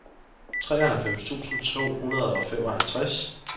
treoghalvfems tusind to hundrede og femoghalvtreds